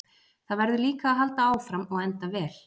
Það verður líka að halda áfram og enda vel.